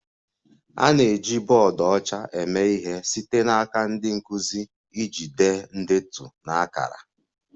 A na-eji bọọdụ ọcha eme ihe site n'aka ndị nkụzi iji dee ndetu na akara